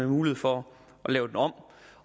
mulighed for at lave den om